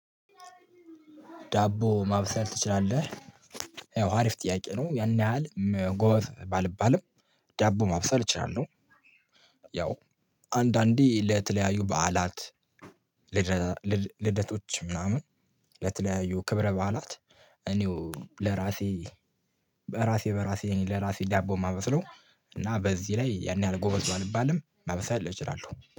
ዳቦ ማብሰል ትችላለህ? ያው አሪፍ ጥያቄ ነው ያን ያህል ጎበዝ ባልባልም ዳቦ ማብሰል እችላለሁ። ያው አንዳንዴ ለተለያዩ በዓላት። ልደቶች ምናምን ለተለያዩ ክብረ በዓላት። እኔው ለራሴ በራሴ በራሴ እኔ ለራሴ ዳቦ የማመስለው። እና በዚህ ላይ ያን ያህል ጎበዝ ባልባልም ማብሰል እችላለሁ